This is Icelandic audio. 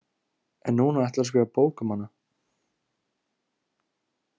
En núna ætlarðu að skrifa bók um hana?